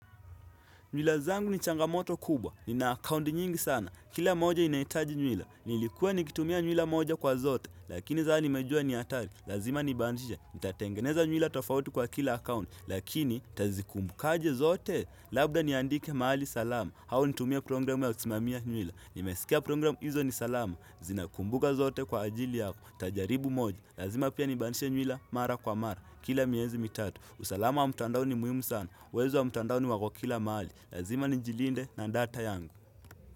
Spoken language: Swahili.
Nywila zangu ni changamoto kubwa, nina akaunti nyingi sana, kila moja inahitaji nywila. Nilikuwa nikitumia nywila moja kwa zote, lakini sasa nimejua ni hatari, lazima nibadilishe. Nitatengeneza nywila tofauti kwa kila akaunti, lakini nitazikumbukaje zote. Labda niandike mahali salama, au nitumie programu ya kusimamia nywila. Nimesikia programu hizo ni salama, zinakumbuka zote kwa ajili yako, nitajaribu moja. Lazima pia nibadilishe nywila mara kwa mara, kila miezi mitatu. Usalama wa mtandao ni muhimu sana, wezi wa mtandaoni wako kila mahali. Lazima nijilinde na data yangu.